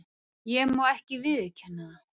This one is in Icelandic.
Ég má ekki viðurkenna það.